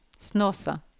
Snåsa